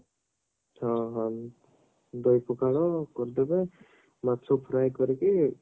ହଁ ହଁ ଦହି ପଖାଳ କରିଦେବ ମାଛ fry କରିକି